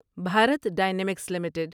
Bharat dynamics limited